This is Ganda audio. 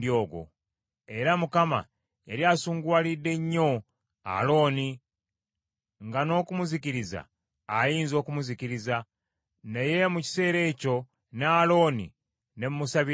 Era Mukama yali asunguwalidde nnyo Alooni nga n’okumuzikiriza ayinza okumuzikiriza. Naye mu kiseera ekyo ne Alooni ne mmusabira nnyo.